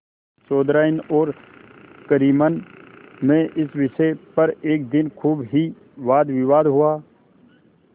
चौधराइन और करीमन में इस विषय पर एक दिन खूब ही वादविवाद हुआ